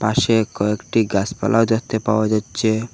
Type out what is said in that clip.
পাশে কয়েকটি গাছপালাও দেখতে পাওয়া যাচ্ছে।